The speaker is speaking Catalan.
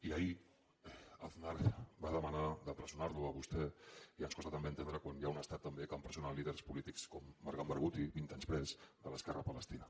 i ahir aznar va demanar d’empresonar lo a vostè i ens costa també entendre quan hi ha un estat també que empresona líders polítics com marwan barghouti vint anys pres de l’esquerra palestina